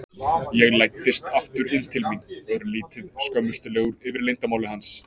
Ég læddist aftur inn til mín, örlítið skömmustulegur yfir leyndarmáli hans.